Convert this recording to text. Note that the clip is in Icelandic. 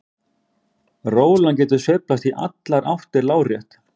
Rólan getur sveiflast í allar áttir lárétt.